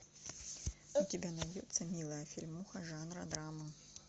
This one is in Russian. у тебя найдется милая фильмуха жанра драмы